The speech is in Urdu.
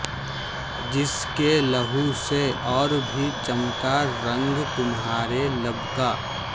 جس کے لہو سے اور بھی چمکا رنگ تمہارے لب کا